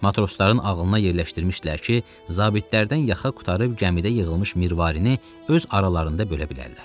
Matrosların ağılına yerləşdirmişdilər ki, zabitlərdən yaxa qurtarıb gəmidə yığılmış mirvarini öz aralarında bölə bilərlər.